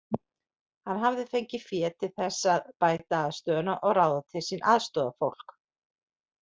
Hann hafði fengið fé til þess að bæta aðstöðuna og ráða til sín aðstoðarfólk.